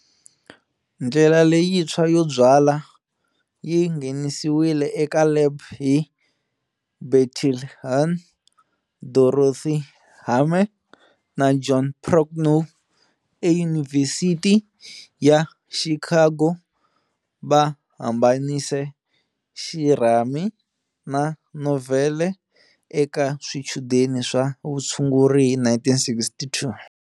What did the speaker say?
Ndlela leyintshwa yo byala yi nghenisiwile eka lab hi Bertil Hoorn. Dorothy Hamre na John Procknow eYunivhesiti ya Chicago va hambanise xirhami xa novhele eka swichudeni swa vutshunguri hi 1962.